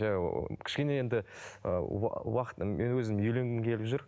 жай ыыы кішкене енді уақыт мен өзім үйленгім келіп жүр